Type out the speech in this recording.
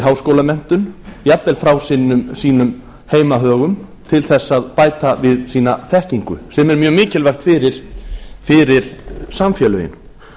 háskólamenntun jafnvel frá sínum heimahögum til þess að bæta við sína þekkingu sem er mjög mikilvægt fyrir samfélögin